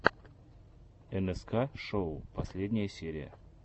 нск шоу последняя серия